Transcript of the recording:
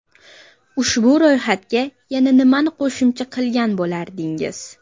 Ushbu ro‘yxatga yana nimani qo‘shimcha qilgan bo‘lardingiz?